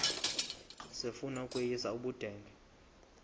sifuna ukweyis ubudenge